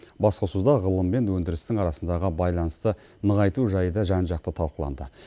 басқосуда ғылым мен өндірістің арасындағы байланысты нығайту жайы да жан жақты талқыланды